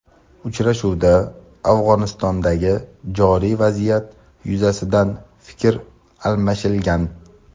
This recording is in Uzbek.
Uchrashuvda Afg‘onistondagi joriy vaziyat yuzasidan fikr almashilgan.